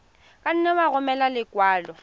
ka nne ya romela lekwalo